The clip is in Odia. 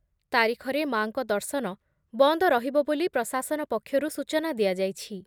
ତାରିଖରେ ମା’ଙ୍କ ଦର୍ଶନ ବନ୍ଦ ରହିବ ବୋଲି ପ୍ରଶାସନ ପକ୍ଷରୁ ସୂଚନା ଦିଆଯାଇଛି ।